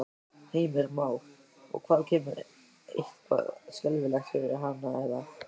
Heimir Már: Og hvað kemur eitthvað skelfilegt fyrir hana eða?